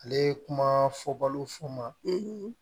Ale ye kuma fɔbalo fɔ n ma